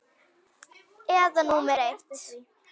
Eyða númer eitt.